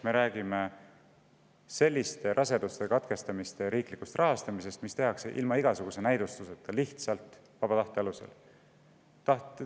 Me räägime selliste abortide riiklikust rahastamisest, mis tehakse ilma igasuguse näidustuseta, lihtsalt vaba tahte alusel.